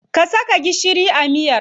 Ka saka gishiri a miyar.